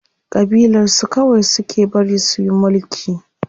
Ƙabilar su kawai suke bari suyi mulki.